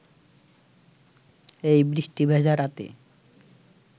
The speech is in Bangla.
এই বৃষ্টি ভেজা রাতে